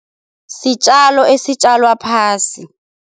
Sitjalo esitjalwa phasi.